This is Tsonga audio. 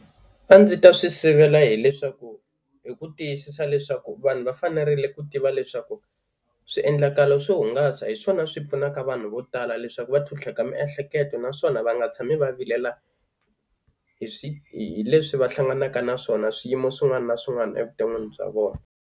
A ndzi ta swi sivela hileswaku hi ku tiyisisa leswaku vanhu va fanerile ku tiva leswaku swiendlakalo swo hungasa hi swona swi pfunaka vanhu vo tala leswaku va tlhutlheka miehleketo, naswona va nga tshami va vilela hi swi hi leswi va hlanganaka na swona swiyimo swin'wana na swin'wana evuton'wini bya vona.